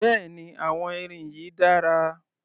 Bẹ́ẹ̀ni àwọn irin yìí dára